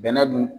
Bɛnɛ dun